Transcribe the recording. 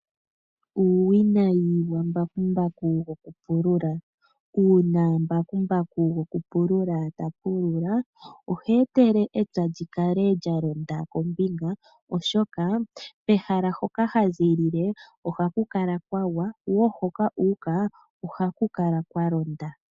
Uuwinayi wambakumbaku gwokupulula, uuna mbakumbaku gwokupulula tapulula ohe etele epya li kale lyalonda kombinga oshoka kehala hoka haziilile ohaku kala kwagwa wo hoka uuka ohaku kala kwa londa.